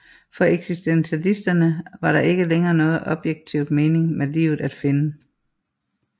For eksistentialisterne var der ikke længere nogen objektiv mening med livet at finde